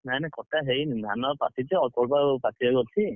ନାଇ ନାଇ କଟା ହେଇନି ଧାନ ଏବେ ପାଚିଛି ଅଳ୍ପ ଆଉ ପାଚିବାକୁ ଅଛି।